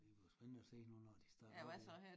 Det bliver spændende at se nu når de starter hvad de